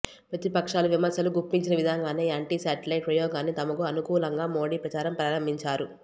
ప్రతిపక్షాలు విమర్శలు గుప్పించిన విధంగానే యాంటీ శాటిలైట్ ప్రయోగాన్ని తమకు అనుకూ లంగా మోడీ ప్రచారం ప్రారంభించారు